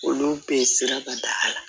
Olu bɛ siraba da la